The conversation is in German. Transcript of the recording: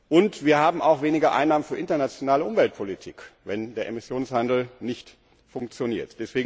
Und wir haben auch weniger Einnahmen für internationale Umweltpolitik, wenn der Emissionshandel nicht funktioniert.